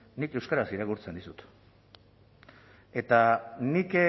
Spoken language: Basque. nik euskaraz irakurtzen dizut eta nik